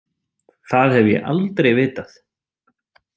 Það hef ég aldrei vitað.